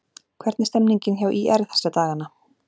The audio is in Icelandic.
Hvernig er stemmningin hjá ÍR þessa dagana?